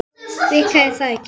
Vika er það ekki?